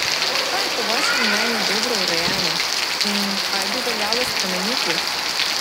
Kaj je po vašem mnenju dobro urejeno in kaj bi veljalo spremeniti?